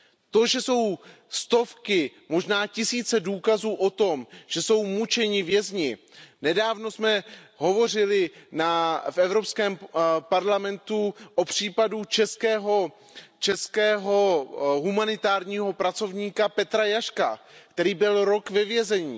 To, že jsou stovky, možná tisíce důkazů o tom, že jsou mučeni vězni nedávno jsme hovořili v Evropském parlamentu o případu českého humanitárního pracovníka Petra Jaška, který byl rok ve vězení.